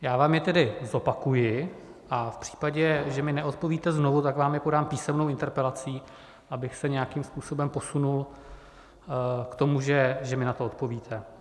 Já vám je tedy zopakuji a v případě, že mi neodpovíte znovu, tak vám je podám písemnou interpelací, abych se nějakým způsobem posunul k tomu, že mi na to odpovíte.